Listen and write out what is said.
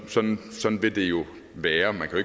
at sådan vil det jo være man kan